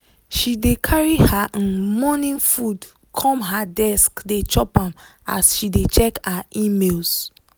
she dey carry her um morning food come her desk dey chop am as she dey check her emails.